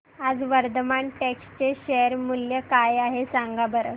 आज वर्धमान टेक्स्ट चे शेअर मूल्य काय आहे सांगा बरं